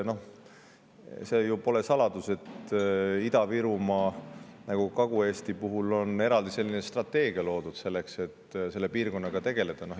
Pole ju saladus, et Ida-Virumaa ja Kagu‑Eesti piirkonnaga tegelemiseks on loodud eraldi strateegia.